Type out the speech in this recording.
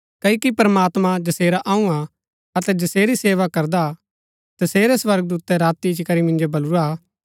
क्ओकि प्रमात्मां जैसेरा अऊँ हा अतै जसेरी सेवा करदा तसेरै स्वर्गदूतै राती इच्ची करी मिन्जो बलुरा